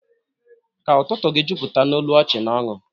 Ka ụtụtụ gị jupụta n'olu ọchị na ọṅụ